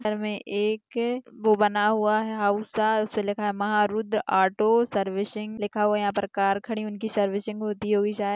घर में एक वह बना हुआ है हाउस से लेकर महा रूद्र ऑटो सर्विसिंग लिखा हुआ यहाँं पर कार खड़ी उनकी सर्विसिंग होती होगी शायद--